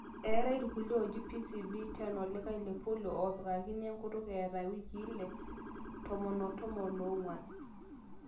eetai irkulie ooji PCV 10 olikae lepolio opikakini enkutuk eeta iwikii ile, tomon o tomon oong'wan